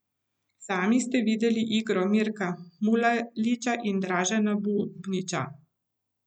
Sami ste videli igro Mirka Mulaliča in Dražena Bubnića.